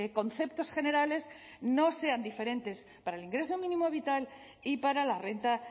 conceptos generales no sean diferentes para el ingreso mínimo vital y para la renta